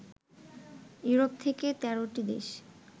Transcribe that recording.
Europe থেকে ১৩ টি দেশ